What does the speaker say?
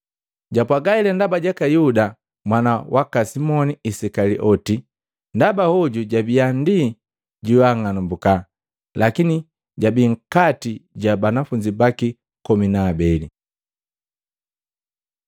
Japwaaga hela ndaba jaka Yuda mwana waka Simoni Isikalioti, ndaba hoju jabiya ndi joang'alumbuka, lakini jabi nkati ja banafunzi baki komi na abeli.